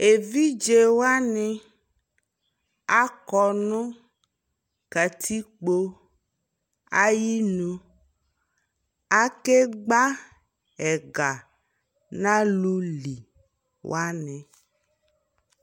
Evidze wani akɔ nu katikpo ayi nuAkegba ɛga na lu li wani